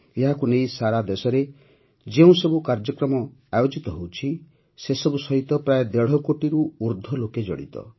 ଏହାକୁ ନେଇ ସାରା ଦେଶରେ ଯେଉଁସବୁ କାର୍ଯ୍ୟକ୍ରମମାନ ଆୟୋଜିତ ହେଉଛି ସସବୁ ସହିତ ପ୍ରାୟଃ ଦେଢ଼ କୋଟିରୁ ଉର୍ଦ୍ଧ୍ୱ ଲୋକେ ଜଡ଼ିତ